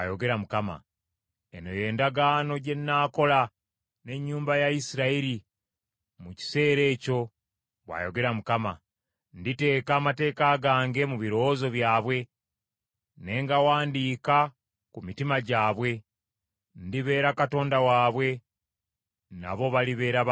“Eno y’endagaano gye nnaakola n’ennyumba ya Isirayiri mu kiseera ekyo,” bw’ayogera Mukama . “Nditeeka amateeka gange mu birowoozo byabwe, ne ngawandiika ku mitima gyabwe. Ndibeera Katonda waabwe, nabo balibeera bantu bange.